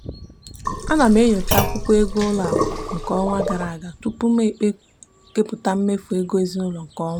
ana m enyocha akwụkwọ ego ụlọakụ nke ọnwa gara aga tupu m kepụta mmefu ego ezinụụlọ nke ọnwa a.